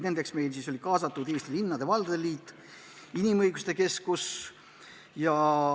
Nendeks olid Eesti Linnade ja Valdade Liit ning Eesti Inimõiguste Keskus.